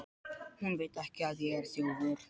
Hún veit ekki að ég er þjófur.